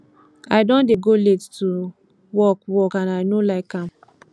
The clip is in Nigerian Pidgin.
i don dey go late to work work and i no like am